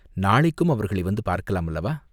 நாளைக்கும் அவர்களை வந்து பார்க்கலாம் அல்லவா?